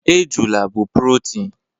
Ejula bụ protein